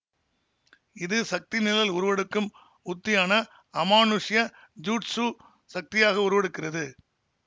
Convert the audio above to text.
இது சக்தி நிழல் உருவெடுக்கும் உத்தியான அமானுஷ்ய ஜுட்ஸு சக்தியாக உருவெடுக்கிறது